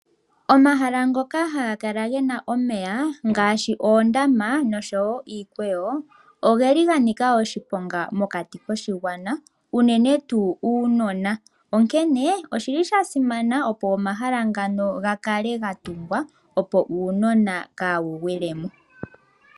Omahala ngoka haga kala gena omeya ngaashi oondama oshowo iikweyo oga nika oshiponga mokati koshigwana unene tuu uunona. Onkene osha simana, opo omahala ngano ga kale ga tungwa uunona kawu gwilemo.